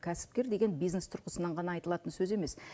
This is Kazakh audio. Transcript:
кәсіпкер деген бизнес тұрғысынан ғана айтылатын сөз емес